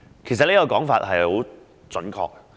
"其實這說法相當準確。